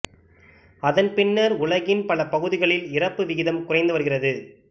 அதன் பின்னர் உலகின் பல பகுதிகளில் இறப்பு விகிதம் குறைந்து வருகிறது